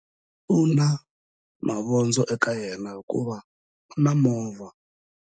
U na mavondzo eka yena hikuva u na movha.